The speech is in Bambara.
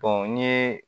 n'i ye